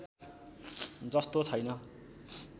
जस्तो छैन